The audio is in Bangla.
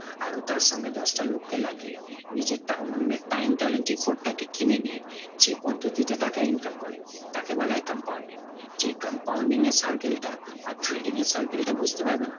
আরো তার সঙ্গে দশটা লোককে লাগিয়ে নিজেরটা অন্যের time, talent, effort টাকে কিনে নিয়ে যে পদ্ধতিতে টাকা income করে তাকে বলা হয় compounding। যে compounding এর circle টা আর trading এর circle টা বুঝতে পারবে না,